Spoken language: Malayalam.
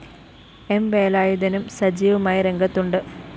എം വേലായുധനും സജീവമായി രംഗത്തുണ്ട്‌